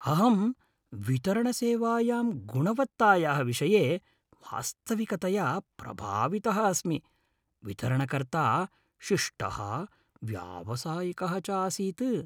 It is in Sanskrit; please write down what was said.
अहं वितरणसेवायां गुणवत्तायाः विषये वास्तविकतया प्रभावितः अस्मि। वितरणकर्ता शिष्टः व्यावसायिकः च आसीत् ।